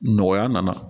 Nɔgɔya nana